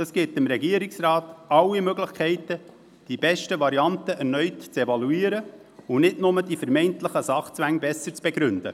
Das gibt dem Regierungsrat alle Möglichkeiten, die besten Varianten erneut zu evaluieren und nicht nur die vermeintlichen Sachzwänge besser zu begründen.